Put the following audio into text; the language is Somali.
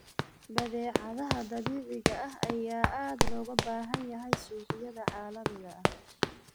Badeecadaha dabiiciga ah ayaa aad loogu baahan yahay suuqyada caalamiga ah.